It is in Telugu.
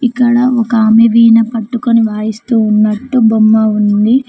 ఇక్కడ ఒక ఆమె వీణ పట్టుకొని వాయిస్తూ ఉన్నట్టు బొమ్మ ఉంది.